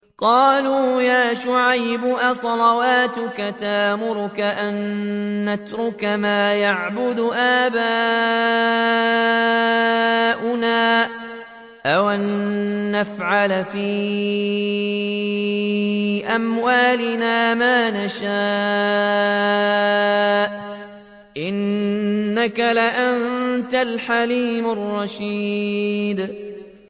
قَالُوا يَا شُعَيْبُ أَصَلَاتُكَ تَأْمُرُكَ أَن نَّتْرُكَ مَا يَعْبُدُ آبَاؤُنَا أَوْ أَن نَّفْعَلَ فِي أَمْوَالِنَا مَا نَشَاءُ ۖ إِنَّكَ لَأَنتَ الْحَلِيمُ الرَّشِيدُ